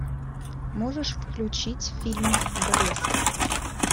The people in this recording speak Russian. можешь включить фильм блеск